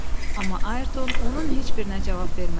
Amma Ayrton onun heç birinə cavab vermədi.